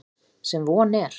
Sem von er.